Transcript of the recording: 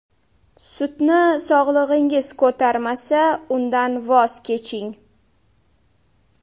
Sutni sog‘lig‘ingiz ko‘tarmasa, undan voz keching.